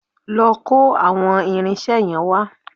Lọ kó àwọn irinṣẹ́ yẹn wá